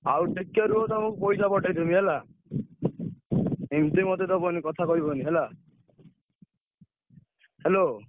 ହଉ ଟିକେ ରୁହ ତମୁକୁ ପଇସା ପଠେଇ ଦେବି ହେଲା। ଏମତି ମତେ ଦବନି କଥା କହିବନି ହେଲା।